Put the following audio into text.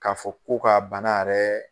Ka fɔ ko ka bana yɛrɛ